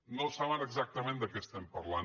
no saben exactament de què estem parlant